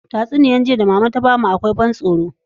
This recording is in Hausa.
Tatsuniyar jiya da mama ta bamu akwai ban tsoro